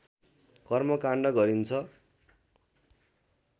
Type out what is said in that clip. कर्मकाण्ड गरिन्छ